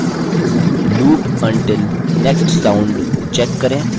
loop until next sound check करें